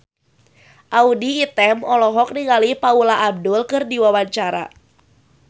Audy Item olohok ningali Paula Abdul keur diwawancara